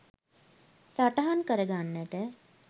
සටහන් කරගන්නට